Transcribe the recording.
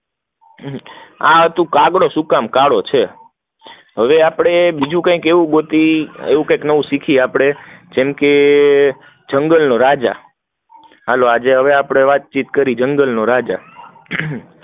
આ હતો કાગડો શું કામ કાળો હતો, હવે આપડે બીજું કંઈક ગોતીયે એવું કંઈક નવું શીખ્યે આપડે જંગલ નો રાજા, હાલો આપડે વાતચીત કરીયે જંગલ નો રાજા